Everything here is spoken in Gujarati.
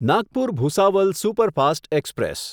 Nagpur Bhusawal superfast express